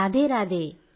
Radhe Radhe